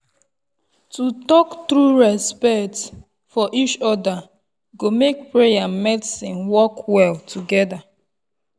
to talk true respect for each other go make prayer and medicine work well together.